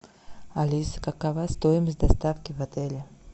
алиса какова стоимость доставки в отеле